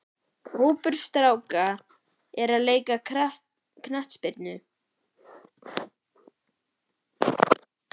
Hópur stráka er að leika knattspyrnu.